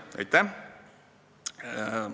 Aitäh!